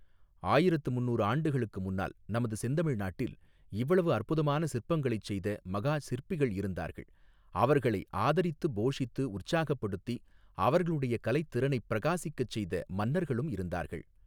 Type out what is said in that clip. ஆயிரத்து முந்நூறு ஆண்டுகளுக்கு முன்னால் நமது செந்தமிழ் நாட்டில் இவ்வளவு அற்புதமான சிற்பங்களைச் செய்த மகா சிற்பிகள் இருந்தார்கள் அவர்களை ஆதரித்துப் போஷித்து உற்சாகப்படுத்தி அவர்களுடைய கலைத் திறனைப் பிரகாசிக்கச் செய்த மன்னர்களும் இருந்தார்கள்.